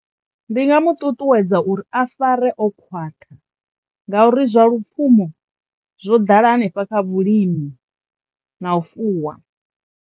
Ndi nga mu ṱuṱuwedza uri a fare o khwaṱha ngauri zwa lupfhumo zwo ḓala hanefha kha vhulimi na u fuwa.